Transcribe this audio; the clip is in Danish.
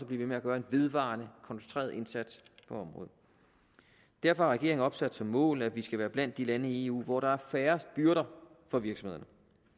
blive ved med at gøre en vedvarende koncentreret indsats på området derfor har regeringen opsat som mål at vi skal være blandt de lande i eu hvor der er færrest byrder for virksomhederne